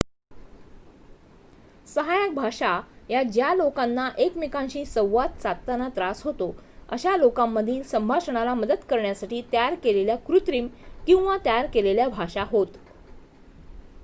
सहाय्यक भाषा या ज्या लोकांना एकमेकांशी संवाद साधताना त्रास होतो अशा लोकांमधील संभाषणाला मदत करण्यासाठी तयार केलेल्या कृत्रिम किंवा तयार केलेल्या भाषा होत